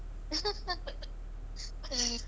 ಹ.